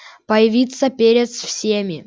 появиться перед всеми